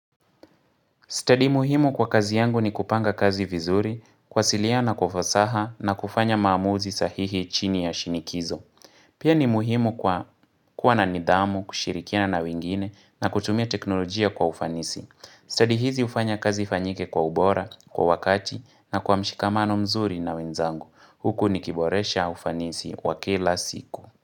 Study muhimu kwa kazi yangu ni kupanga kazi vizuri, kuwasilia kwa ufasaha na kufanya maamuzi sahihi chini ya shinikizo. Pia ni muhimu kwa kuwa na nidhamu, kushirikia na wingine na kutumia teknolojia kwa ufanisi. Study hizi ufanya kazi ifanyike kwa ubora, kwa wakati na kwa mshikamano mzuri na wenzangu. Huku nikiboresha ufanisi wakila siku.